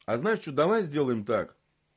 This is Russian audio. а знаешь что давай сделаем так